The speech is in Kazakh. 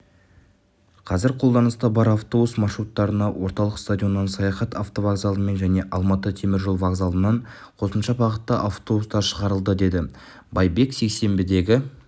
қазір қолданыста бар автобус маршруттарына орталық стадионнан саяхат автовокзалынан және алматы темір жол вокзалынан қосымша бағытта автобустар шығарылады деді байбек сейсенбідегі